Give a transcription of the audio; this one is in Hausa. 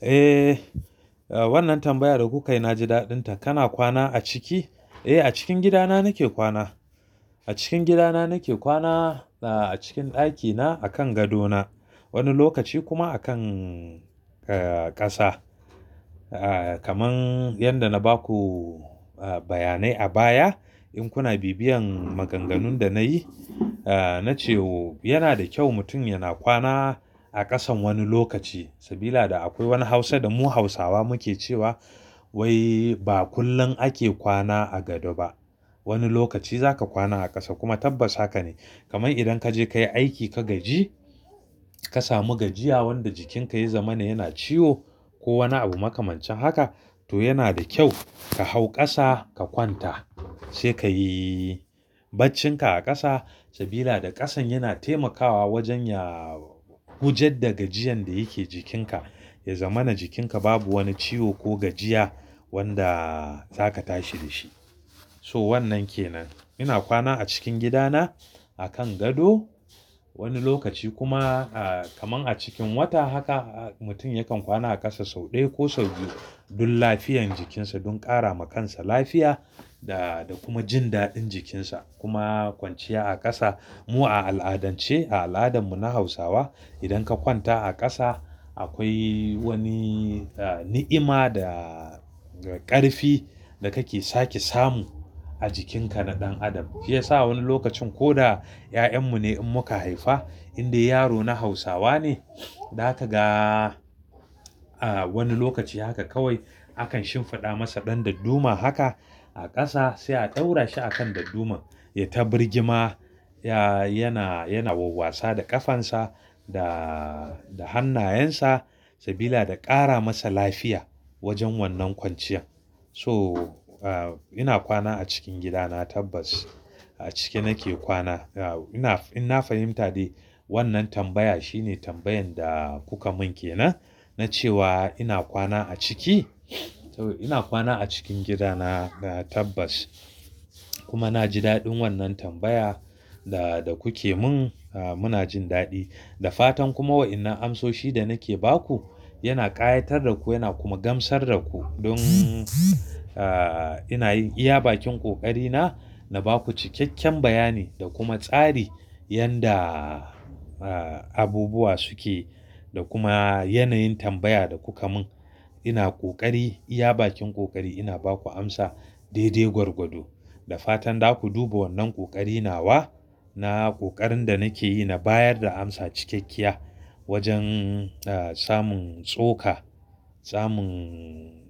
Eh, wannan tambaya da kuka yi na ji daɗinta. Kana kwana a ciki? Eh, a cikin gidana nake kwana. A cikin gidana nake kwana, a cikin ɗakina, a kan gadona. Wani lokaci kuma a kan, eh, ƙasa. Kaman yadda na ba ku bayanai a baya. In kuna bibiyan maganganun da na yi. Na ce wa yana da kyau mutum yana kwana a ƙasan wani lokaci. Sabida akwai wani hausa da mu hausawa muke cewa; wai ba kullum ake kwana a gado ba. Wani lokaci za ka kwana a ƙasa kuma tabbas haka ne. Kaman idan ka je ka yi aiki ka gaji, ka samu gajiya wanda jikinka ya zama yana ciwo ko wani abu makamance haka. To yana da kyau ka hau ƙasa ka kwanta sai ka yi baccinka a ƙasa. Sabida ƙasan yana taimakawa wajen ya wujudar da gajiyan da yake jikinka. Ya zamana jikinka babu wani ciwo ko gajiya wanda za ka tashi da shi. So wannan ke nan. Ina kwana a cikin gidana a kan gado. Wani lokaci kuma kaman a cikin wata haka mutum yakan kwana a ƙasa sau ɗaya ko sau biyu don lafiyan jikinsa, don ƙara ma kansa lafiya da kuma jin daɗin jikinsa. Kuma kwanciya a ƙasa mu a al'adance a al'adarmu na hausawa. Idan ka kwanta a ƙasa akwai wani ni'ima da ƙarfi da kake sake samu a jikinka na ɗan adam. Shiyasa wani lokacin ko da 'ya'yanmu ne in muka haifa, in dai yaro na hausawa ne. Za ka ga wani lokaci haka kawai akan shimfiɗa masa ɗan dadduma haka a ƙasa sai a ɗaura shi a kan dadduman ya ta birgima. Yana, yana wa wasa da ƙafansa da hannayensa sabida da ƙara masa lafiya wajen wannan kwanciyan. So ina kwana a cikin gidana tabbas. A ciki nake kwana. In na fahimta dai wannan tambaya shine tambayan da kuka mun ke nan. Na ce wa ina kwana a ciki? Ina kwana a cikin gidana tabbas. Kuma na ji daɗin wannan tambaya da kuke mun. Muna jin daɗi. Da fatan kuma wa'inan amsoshi da nake ba ku yana ƙayatar da ku yana kuma gamsar da ku. Don ina iya bakin ƙoƙari na, na ba ku cikakken bayani da kuma tsari yanda abubuwa suke da kuma yanayin tambaya da kuka mun. Ina ƙoƙari iya bakin ƙoƙari ina ba ku amsa dai-dai gwargwado. Da fatan za ku duba wannan ƙoƙari na wa na ƙoƙarin da nake yi na bayar da amsa cikakkiya wajen samun tsoka, samun